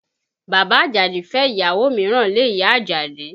Bàbá Àjàdí fẹ́ ìyàwó mìíràn lé ìyá Àjàdí